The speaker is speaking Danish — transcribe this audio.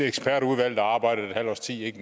ekspertudvalg der arbejdede et halvt års tid